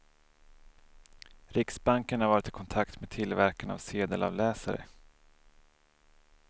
Riksbanken har varit i kontakt med tillverkarna av sedelavläsare.